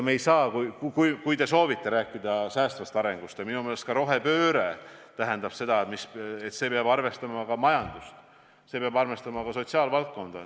Kui te soovite rääkida säästvast arengust – ja minu meelest rohepööre seda tähendab –, siis peab arvestama ka majandust ja sotsiaalvaldkonda.